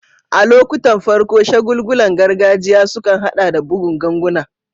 A lokuttan farko, shagulgulan gargajiya sukan haɗa da bugun ganguna.